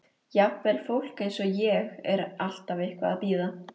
Jafnvel fólk eins og ég er alltaf eitthvað að bíða.